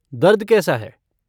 दर्द कैसा है?